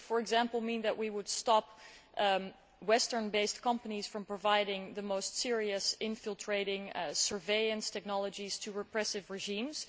This would, for example, mean that we would stop Western based companies from providing the most serious infiltrating surveillance technologies to repressive regimes.